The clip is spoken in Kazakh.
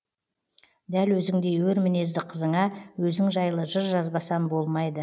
дәл өзіңдей өр мінезді қызыңа өзің жайлы жыр жазбасам болмайды